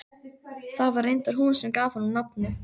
Það var reyndar hún sem gaf honum nafnið.